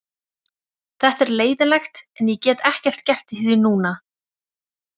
Þetta er leiðinlegt en ég get ekkert gert í því núna.